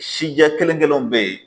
Sijɛ kelen kelenw be yen